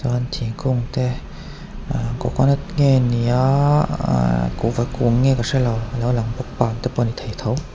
chuan thingkung te ah coconut nge ni a ah kuhva kung nge ka hrelo alo lang vang te pawh ani thei tho.